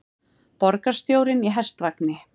Borgarstjórinn í hestvagni